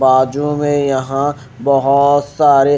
वाज़ू में यहां बहुत सारे--